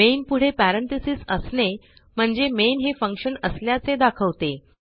main पुढे parenthesis असणे म्हणजे मेन हे फंक्शन असल्याचे दाखवते